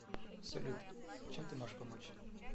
салют чем ты можешь помочь